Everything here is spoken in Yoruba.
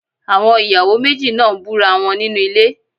Àwọn ìyàwó méjì náà ń búra wọn nínú ilé.